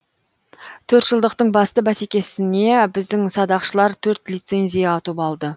төрт жылдықтың басты бәсекесіне біздің садақшылар төрт лицензия ұтып алды